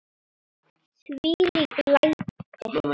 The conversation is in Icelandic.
Þvílík læti!